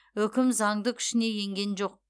үкім заңды күшіне енген жоқ